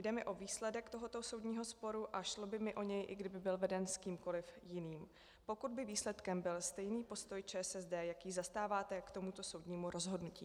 Jde mi o výsledek tohoto soudního sporu a šlo by mi o něj, i kdyby byl veden s kýmkoli jiným, pokud by výsledkem byl stejný postoj ČSSD, jaký zastáváte k tomuto soudnímu rozhodnutí.